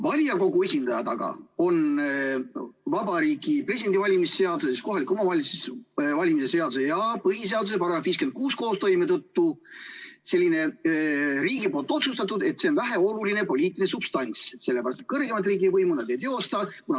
Valimiskogu esindajate kohta on aga Vabariigi Presidendi valimise seaduse, kohaliku omavalitsuse volikogu valimise seaduse ja põhiseaduse § 56 koostoime tõttu riik otsustanud, et need on väheoluline poliitiline substants, sest kõrgemat riigivõimu nad ei teosta.